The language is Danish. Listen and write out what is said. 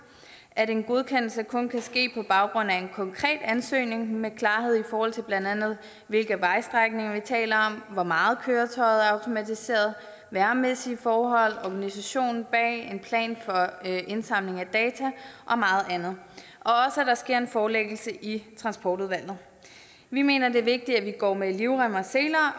at en godkendelse kun kan ske på baggrund af en konkret ansøgning med klarhed over hvilke vejstrækninger vi taler om hvor meget køretøjet er automatiseret vejrmæssige forhold organisationen bag en plan for indsamling af data og meget andet og sker en forelæggelse i transportudvalget vi mener det er vigtigt at vi går med livrem og seler